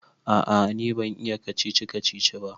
A'a ni ban iya kacici-kacici ba